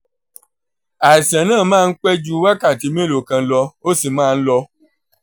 àìsàn náà máa ń pẹ́ ju wákàtí mélòó kan lọ ó sì máa ń lọ